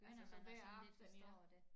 Altså så hver aften ja